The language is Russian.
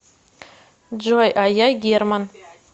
джой а я герман